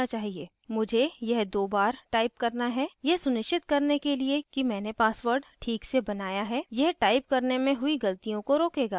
मुझे यह दो बार type करना है यह सुनिश्चित करने के लिए कि मैंने password this से बनाया है यह type करने में हुई गलतियों को रोकेगा